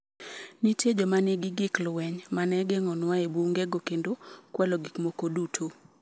Nitie joma nigi gik lweny ma ne geng’onua e bunge go kendo kwalo gik moko duto.